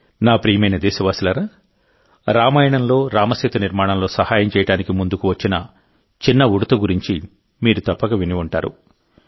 నా ప్రియమైన దేశవాసులారారామాయణంలో రామసేతు నిర్మాణంలో సహాయం చేయడానికి ముందుకు వచ్చిన చిన్న ఉడుత గురించి మీరు తప్పక విని ఉంటారు